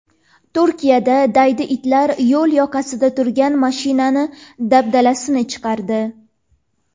Turkiyada daydi itlar yo‘l yoqasida turgan mashinaning dabdalasini chiqardi.